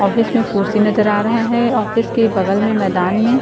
office में कुर्सी नजर आ रहा है ऑफिस के बगल में मैदान में --